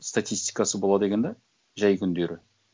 статистикасы болады екен да жай күндері